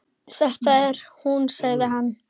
Þetta er hún sagði hann.